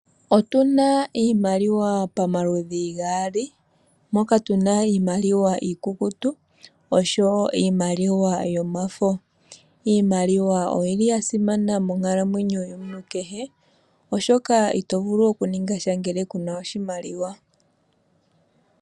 Otuna iimaliwa pamaludhi gaali, moka tuna iimaliwa iikukutu noshowo iimaliwa yomafo. Iimaliwa oyili ya simana monkalamwenyo yomuntu kehe, oshoka ito vulu oku ninga sha ngele kuna oshimaliwa.